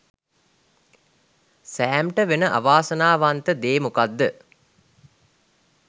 සෑම්ට වෙන අවාසනාවන්ත දේ මොකද්ද